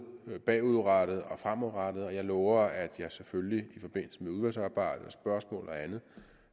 bagudrettet og fremadrettet jeg lover at jeg selvfølgelig i forbindelse med udvalgsarbejdet og spørgsmål og andet